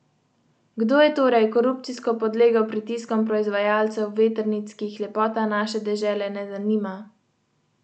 Maribor je prišel v Novo Gorico v najbolj neugodnem trenutku, kajne?